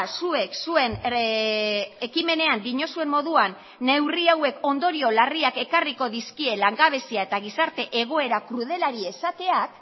zuek zuen ekimenean diozuen moduan neurri hauek ondorio larriak ekarriko dizkie langabezia eta gizarte egoera krudelari esateak